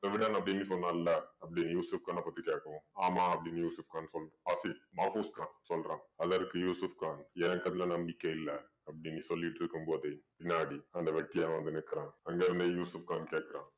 செவிடன் அப்படீன்னு சொன்னான்ல அப்படி யூசுஃப் கான பத்தி கேட்கவும் ஆமாம் அப்படீன்னு யூசுஃப் கான் சொல்ற~ ஆஃபிஸ்~ மாஃபூஸ் கான் சொல்றான் அதற்கு யூசுஃப் கான் ஏன் கண்ணுல நம்பிக்கையில்ல அப்படீன்னு சொல்லிட்டிருக்கும் போதே பின்னாடி அந்த வெட்டியான் வந்து நிக்கிறான். அங்க வந்த யூசுஃப் கான் கேக்குறான்.